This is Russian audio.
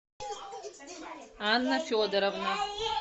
анна федоровна